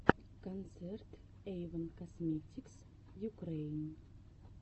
концерт эйвон косметикс юкрэин